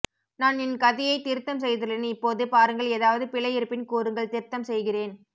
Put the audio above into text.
நான் என் கதையை திருத்தும் செய்துள்ளேன் இப்போது பாருங்கள் எதாவது பிழை இருப்பின் கூறுங்கள் திருத்தம் செய்கிறேன்